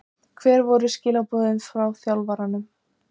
Skýjakljúfarnir umhverfis hann ofbuðu honum ekki lengur.